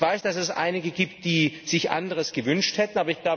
Ich weiß, dass es einige gibt, die sich anderes gewünscht hätten.